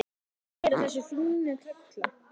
Hann er oft að keyra þessa fínu kalla.